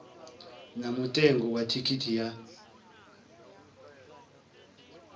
na mutengo wa thikhithi ya